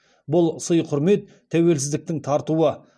бұл сый құрмет тәуелсіздіктің тартуы